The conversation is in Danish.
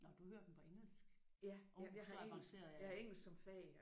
Nåh du hører dem på engelsk? Åh så avanceret er jeg ikke